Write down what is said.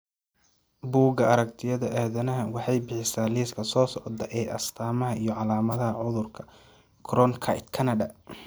Buugga Aragtiyaha Aadanaha waxay bixisaa liiska soo socda ee astamaha iyo calaamadaha cudurka Cronkite Kanada.